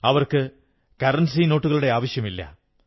അവർക്ക് രൂപാ നോട്ടുകളുടെ ആവശ്യമില്ല